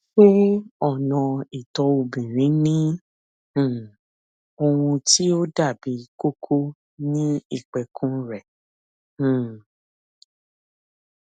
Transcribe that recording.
ṣé ọnà ìtọ obìnrin ní um ohun tí ó dàbí kókó ní ìpẹkun rẹ um